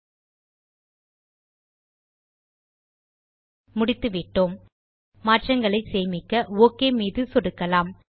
ல்ட்பாசெக்ட் முடித்துவிட்டோம் மாற்றங்களை சேமிக்க ஒக் மீது சொடுக்கலாம்